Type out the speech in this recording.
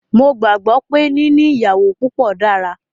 Mó gbàgbé pé níní ìyàwó púpọ dára.